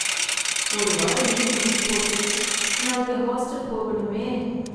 ஒரு வாரம் லீவு முடிஞ்சு போச்சு நாளைக்கு ஹாஸ்டல் போகணுமே